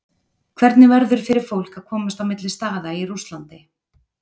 Hvernig verður fyrir fólk að komast á milli staða í Rússlandi?